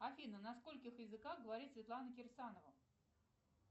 афина на скольких языках говорит светлана кирсанова